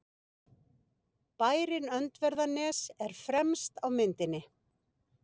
Bærinn Öndverðarnes er fremst á myndinni.